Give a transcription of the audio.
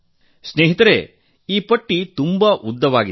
ಮಿತ್ರರೇ ಈ ಪಟ್ಟಿ ತುಂಬಾ ಉದ್ದವಾಗಿದೆ